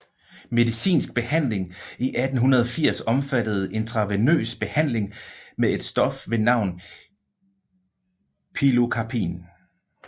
Medicinsk behandling i 1880 omfattede intravenøs behandling med et stof ved navn pilocarpin